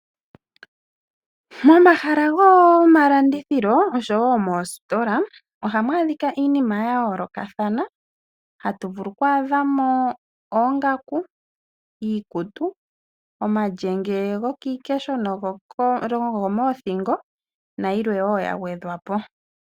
Momahala gomalandithilo, oshowo moositola ohamu adhika iinima ya yoolokathana. Ohatu vulu oku adha mo oongaku, iikutu, omalyenge gokiikesho nogomoothingo nayilwe wo ya gwedhwa po.